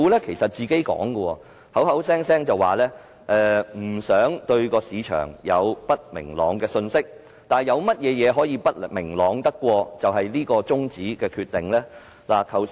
其實，政府聲稱不想給予市場不明朗的信息，但有甚麼會比中止審議《條例草案》的決定更不明朗？